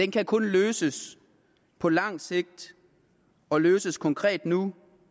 kan kun løses på langt sigt og løses konkret nu